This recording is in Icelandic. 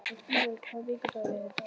Nóni, hvaða vikudagur er í dag?